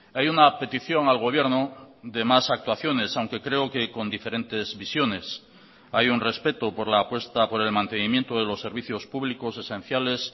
hay una petición al gobierno de más actuaciones aunque creo que con diferentes visiones hay un respeto por la apuesta por el mantenimiento de los servicios públicos esenciales